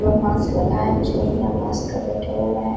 लोग मास्क लगाए हैं कुछ लोग बिना मास्क के बैठे हुए हैं।